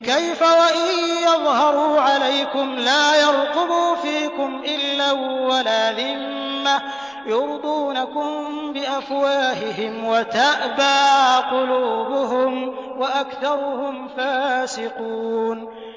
كَيْفَ وَإِن يَظْهَرُوا عَلَيْكُمْ لَا يَرْقُبُوا فِيكُمْ إِلًّا وَلَا ذِمَّةً ۚ يُرْضُونَكُم بِأَفْوَاهِهِمْ وَتَأْبَىٰ قُلُوبُهُمْ وَأَكْثَرُهُمْ فَاسِقُونَ